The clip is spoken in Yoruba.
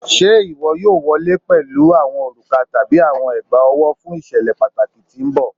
Ṣe iwọ yoo wọle pẹlu awọn oruka tabi awọn egbaowo fun iṣẹlẹ pataki ti n bọ?